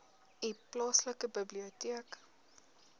u plaaslike biblioteek